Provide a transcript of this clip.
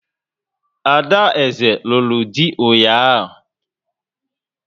Ada eze lụrụ dị ụnyaahụ